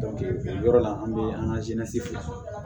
o yɔrɔ la an bɛ an ka bila